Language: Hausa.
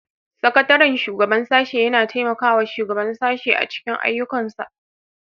Sakataren shugaban sashe yana taimakawa shugaban sashe a cikin ayyukansa